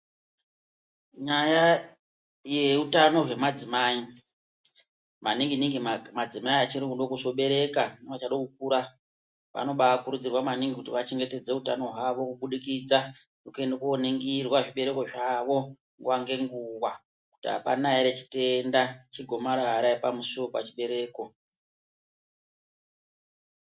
Nyaya yeutano hwemadzimai maningi ningi madzimai achiri kuda kuzobereka neachada kukura vanobakurudzirwa maningi kuti vachengetedze utano hwavo kubudikidza ngekuenda kooningirwa zvibereko zvavo nguwa ngenguwa kuti apana ere chitenda chegomarara pamusuwo wepachibereko.